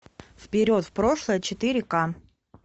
вперед в прошлое четыре к